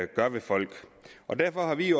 gør ved folk og derfor har vi